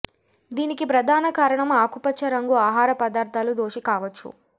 దీనికి ప్రధాన కారణం ఆకుపచ్చ రంగు ఆహార పదార్ధాలు దోషి కావచ్చు